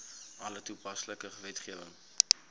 alle toepaslike wetgewing